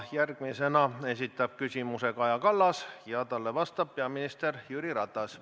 Järgmisena esitab küsimuse Kaja Kallas ja talle vastab peaminister Jüri Ratas.